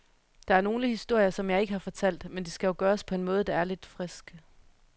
Der er nogle historier, som jeg ikke har fortalt, men det skal jo gøres på en måde, der er lidt frisk.